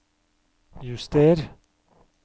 juster